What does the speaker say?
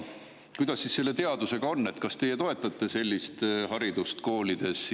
Kuidas selle teadusega on, kas teie toetate sellist haridust koolides?